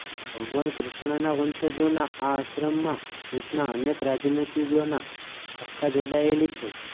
ભગવાન કૃષ્ણના વંશજોના આ આશ્રમમાં દેશના અનેક રાજનીતિજ્ઞોની આસ્થા જોડાયેલી છે